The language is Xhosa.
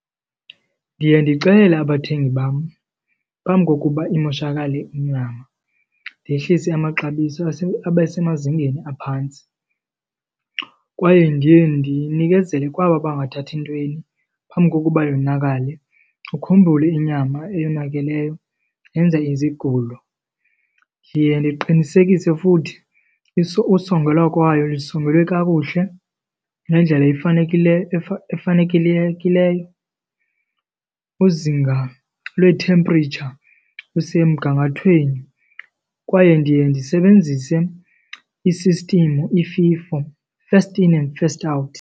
Ndiye ndixelele abathengi bam phambi kokuba imoshakale inyama, ndehlise amaxabiso abe semazingeni aphantsi kwaye ndiye ndinikezele kwaba bangathathi ntweni phambi kokuba yonakale. Ukhumbule inyama eyonakeleyo yenza izigulo. Ndiye ndiqinisekise futhi usongelwa kwayo isongelwe kakuhle ngendlela efanekileyo , izinga lwe-temperature lisemgangathweni kwaye ndiye ndisebenzise i-system iFIFO, first in and first out.